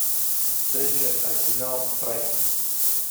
встреча арсенал брайтон